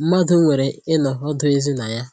mmadụ nwere ịnọ ọdụ ezi na ya